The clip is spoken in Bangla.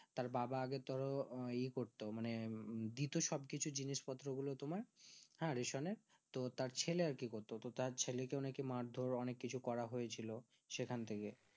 তার বাবা আগে ধরো ই করতো মানে দিতো সব কিছু জিনিস পত্র গুলো হ্যাঁ রেশম এ তো তার ছেলে আর কি করতো তো তার ছেলেকে নাকি মারধর অনেক কিছু করা হয়েছিল সেখান থেকে